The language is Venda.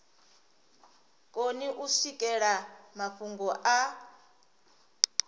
koni u swikelela mafhungo a